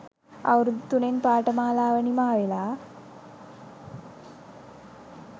අවුරුදු තුනෙන් පාඨමාලාව නිමා වෙලා